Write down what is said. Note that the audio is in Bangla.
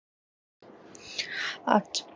আচ্ছা